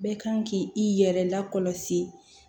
Bɛɛ kan ki i yɛrɛ lakɔlɔsi